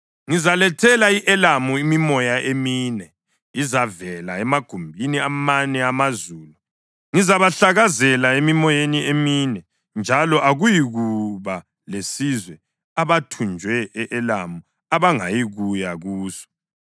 Ngizalethela i-Elamu imimoya emine ezavela emagumbini amane amazulu, ngizabahlakazela emimoyeni emine, njalo akuyikuba lesizwe abathunjwe e-Elamu abangayikuya kuso.